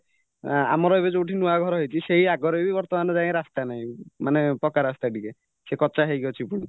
ଆଁ ଆମର ଏବେ ଯୋଉଠି ନୂଆ ଘର ହେଇଚି ସେଇ ଆଗରେବି ବର୍ତ୍ତମାନ ଯାଏଁ ରାସ୍ତା ନାହିଁ ମାନେ ପକାରାସ୍ତା ଟିକେ ସେ କଚା ହେଇକି ଅଛି ପୁଣି